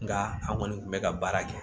Nka an kɔni kun bɛ ka baara kɛ